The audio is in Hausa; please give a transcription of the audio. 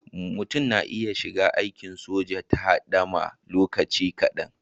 Mutum na iya shiga aikin soja ta hidima lokaci kadan.